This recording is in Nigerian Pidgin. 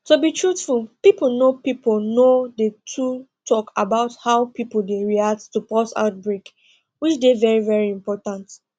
to be truthful pipo know pipo know dey too talk about how pipo dey react to pause outbreak which dey very very important